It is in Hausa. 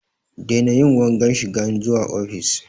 Daina yin wanga shigan zuwa ofis!